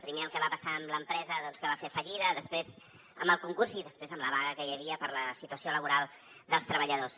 primer el que va passar amb l’empresa doncs que va fer fallida després amb el concurs i després amb la vaga que hi havia per la situació laboral dels treballadors